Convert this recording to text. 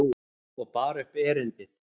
Og bar upp erindið.